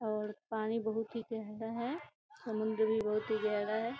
और पानी बहोत ही प्यारा है‌। समुन्द्र भी बहोत ही गहरा है।